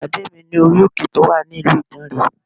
Pàdé mi ní orí òkè tí ó wà ní ìlú Ìdànrè